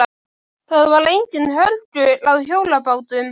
Það var enginn hörgull á hjólabátum.